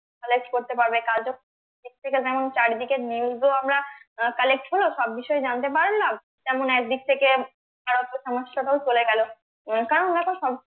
collect করতে পারবে কাজও এর থেকে যেমন চারিদিকে news ও আমরা আহ collect হলো সব বিষয়ে জানতে পারলাম তেমন একদিক থেকে বেকারত্বও সমস্যাটাও চলে গেলো আহ কারন দেখো